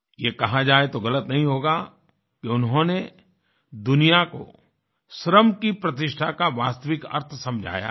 ये कहा जाए तो गलत नहीं होगा कि उन्होंने दुनिया को श्रम की प्रतिष्ठा का वास्तविक अर्थ समझाया है